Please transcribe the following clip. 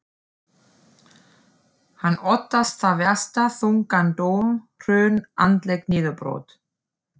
Hann óttast það versta, þungan dóm, hrun, andlegt niðurbrot.